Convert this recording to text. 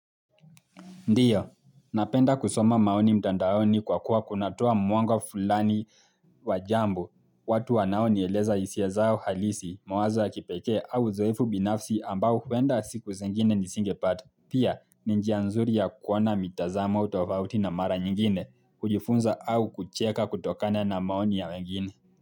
Ndio, napenda kusoma maoni mtandaoni kwa kuwa kunatoa mwanga fulani wa jambo watu wanaonieleza hisia zao halisi mawazo ya kipekee au uzoefu binafsi ambao huenda siku zingine nisingepata. Pia, ni njia nzuri ya kuona mitazamo au tofauti na mara nyingine, kujifunza au kucheka kutokana na maoni ya wengine.